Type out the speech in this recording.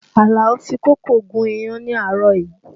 Alao fi kókò gún iyán ni àárọ̀ yìí